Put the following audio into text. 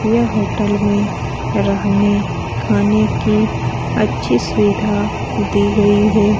यह होटल में रहने खाने की अच्छी सुविधा दी गई है ।